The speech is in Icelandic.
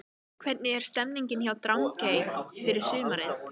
Hvernig er stemningin hjá Drangey fyrir sumarið?